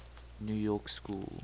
new york school